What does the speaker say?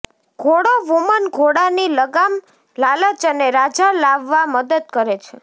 ઘોડો વુમન ઘોડાની લગામ લાલચ અને રાજા લાવવા મદદ કરે છે